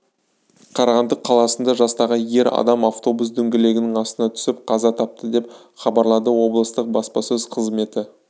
қарағанды қаласында жастағы ер адам автобус дөңгелегінің астына түсіп қаза тапты деп хабарлады облыстық баспасөз қызметі